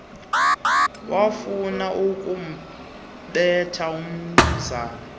wafuna ukumbetha umnumzana